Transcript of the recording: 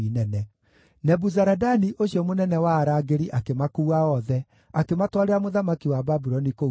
Nebuzaradani ũcio mũnene wa arangĩri akĩmakuua othe, akĩmatwarĩra mũthamaki wa Babuloni kũu Ribila.